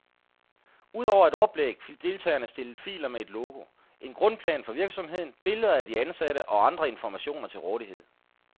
Udover et oplæg fik deltagerne stillet filer med et logo, en grundplan for virksomheden, billeder af de ansatte og andre informationer til rådighed.